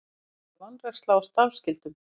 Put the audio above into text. Alvarleg vanræksla á starfsskyldum